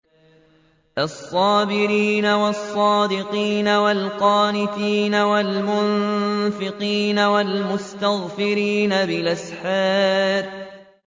الصَّابِرِينَ وَالصَّادِقِينَ وَالْقَانِتِينَ وَالْمُنفِقِينَ وَالْمُسْتَغْفِرِينَ بِالْأَسْحَارِ